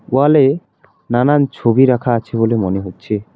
ওয়াল এ নানান ছবি রাখা আছে বলে মনে হচ্ছে।